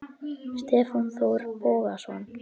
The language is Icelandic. Stefán Þór Bogason